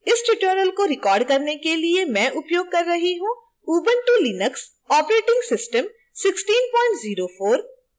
इस tutorial को record करने के लिए मैं उपयोग कर रही हूँ ubuntu linux operating system 1604